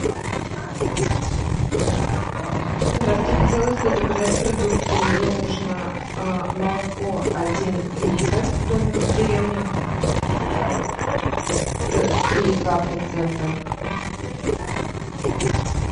здравствуйте хотелось бы заказать продукты мне нужно молоко один литр домик в деревне три и два процента